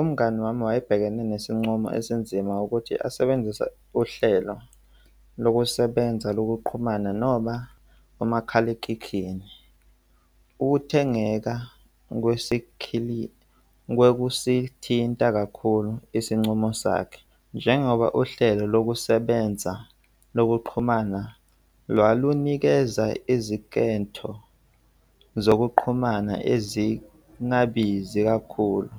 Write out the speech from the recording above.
Umngani wami wayebhekene nesinqumo esinzima ukuthi asebenzise uhlelo lokusebenza lokuqhumana noma umakhalekhikhini. Ukuthengeka kwesikhilithi kwekusithinta kakhulu isincomo sakhe. Njengoba uhlelo lokusebenza lokuxhumana lwalunikeza izinketho zokuqhumana ezingabizi kakhulu